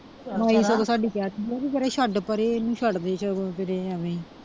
ਸਾਡੀ ਛੱਡ ਪਰੇ ਇਹਨੂੰ ਛੱਡ ਦੇ ਸਗੋਂ ਜਿਹੜੇ ਐਵੇਂ ਹੀ।